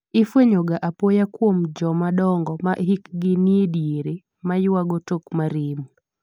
ifwenye ga apoya kuom joma dongo ma hikgi ni e diere ma ywago tok ma remo